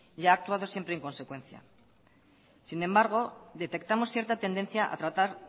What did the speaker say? y ha actuado siempre en consecuencia sin embargo detectamos cierta tendencia a tratar